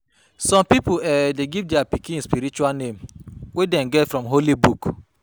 Some pipo um de give their pikin spiritual name wey them get from holy book